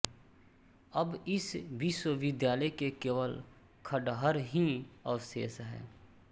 अब इस विश्वविद्यालय के केवल खण्डहर ही अवशेष हैं